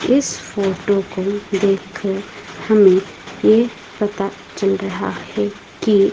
इस फोटो को देखकर हमें ये पता चल रहा है कि--